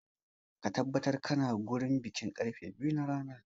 Ka tabbatar ka na wurin bikin karfe biyu na rana!